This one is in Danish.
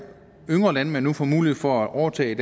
yngre landmænd nu får mulighed for at overtage